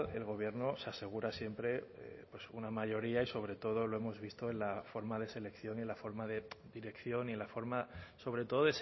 el gobierno se asegura siempre pues una mayoría y sobre todo lo hemos visto en la forma de selección y en la forma de dirección y en la forma sobre todo